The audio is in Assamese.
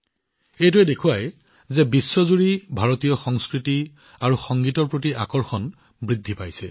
এইটোৱে দেখুৱাইছে যে ভাৰতীয় সংস্কৃতি আৰু সংগীতৰ উন্মাদনা সমগ্ৰ বিশ্বতে বৃদ্ধি পাইছে